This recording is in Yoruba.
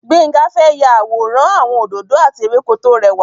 Gbénga fẹ́ ya àwòrán àwọn òdòdó àti ewéko tó rẹwà.